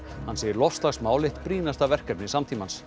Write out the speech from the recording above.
hann segir loftslagsmál eitt brýnasta verkefni samtímans